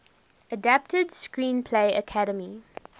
adapted screenplay academy